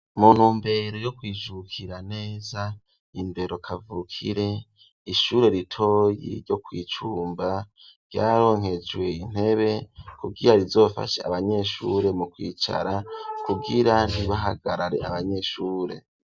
mu ntumbero yo kwijukira neza indero kavukire, ishure ritoyi ryo kwicumba, ryaronkejwe intebe kugira rizofashe abanyeshure mu kwicara, kugira ntibahagarare abanyeshure.